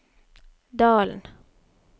Dalen